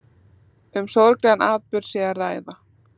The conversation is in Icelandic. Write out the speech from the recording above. Um sorglegan atburð sé að ræða